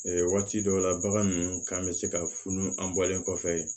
Waati dɔw la bagan ninnu kan bɛ se ka funu an bɔlen kɔfɛ